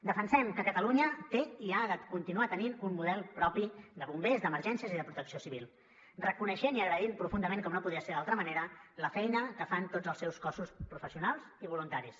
defensem que catalunya té i ha de continuar tenint un model propi de bombers d’emergències i de protecció civil reconeixent i agraint profundament com no podia ser d’altra manera la feina que fan tots els seus cossos professionals i voluntaris